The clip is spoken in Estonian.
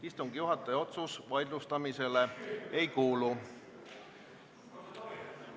Istungi juhataja otsus vaidlustamisele ei kuulu.